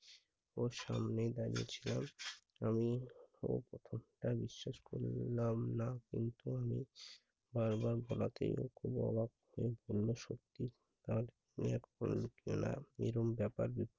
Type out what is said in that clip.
ও সামনে দাঁড়িয়ে ছিল। আমি ওর ওর কথা বিশ্বাস করলাম না কিন্তু আমি বারবার বোলাতে ও খুব অবাক হযে পড়লো সত্যিই তার এরম ব্যাপার